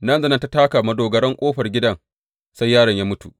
Nan da nan da ta taka madogarar ƙofar gidan, sai yaron ya mutu.